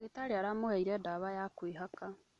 Ndagĩtarĩ aramũheire dawa ya kwĩhaka